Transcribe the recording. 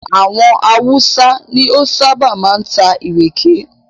Àwọn Hausa ni ó ṣábà máa ń ta ìrèké.